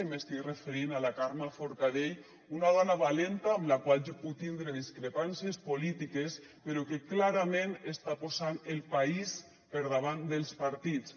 i m’estic referint a la carme forcadell una dona valenta amb la qual jo puc tindre discrepàncies polítiques però que clarament està posant el país per davant dels partits